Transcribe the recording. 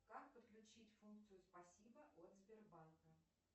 как подключить функцию спасибо от сбербанка